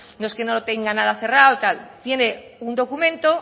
no es que no lo tenga nada cerrado tal tiene un documento